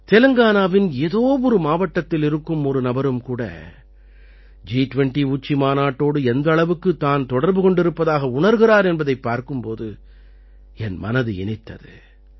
தெலங்கானாவின் ஏதோ ஒரு மாவட்டத்தில் இருக்கும் ஒரு நபரும் கூட ஜி20 உச்சி மாநாட்டோடு எந்த அளவுக்குத் தான் தொடர்பு கொண்டிருப்பதாக உணர்கிறார் என்பதைப் பார்க்கும் போது என் மனது இனித்தது